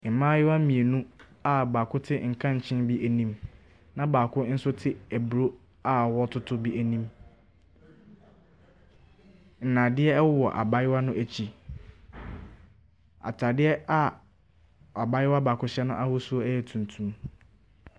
Mmaayewa mmienu a baako te nkankyee bi anim na baako nso te aburo a wɔɔtoto bi anim. Nnadeɛ ɛwowɔ abaayewa no akyi. Ataaeɛ a abaayewa baako hyɛ n'ahosuo ɛyɛ tuntum.